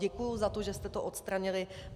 Děkuji za to, že jste to odstranili.